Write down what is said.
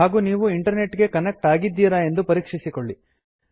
ಹಾಗು ನೀವು ಇಂಟರ್ನೆಟ್ ಗೆ ಕನೆಕ್ಟ್ ಆಗಿದ್ದೀರ ಎಂದು ಪರೀಕ್ಷಿಸಿಕೊಳ್ಳಿ